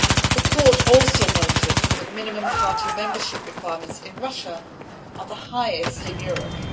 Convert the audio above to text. The Court also noted that minimum party membership requirements in Russia are the highest in Europe.